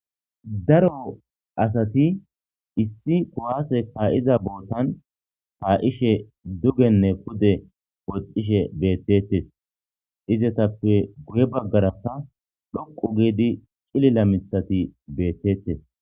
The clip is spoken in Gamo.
Daro asati issi kuwase ka'za botan ka'ishe dugene pude woxishe betetes izatape guye bagaraka dhoqu gidi c'lila mithati betetes.